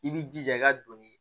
I b'i jija i ka donni